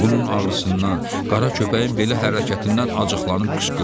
Bunun ağrısından, qara köpəyin belə hərəkətindən acıqlanıb qışqırdı.